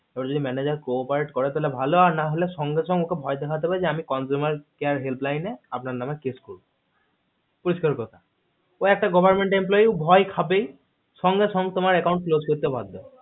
তোর যদি manager corporate করে তাহলে তো ভালো আর না হলে সঙ্গে সঙ্গে তা না হলে ওকে ভয় দেখতে হবে যে consumer care helpline number আপনার নামে cases করবো পরিষ্কার কথা ও একটা government employment ভয় খাবেই সঙ্গে সঙ্গে ও তোমার account close করতে বাধ্য হবে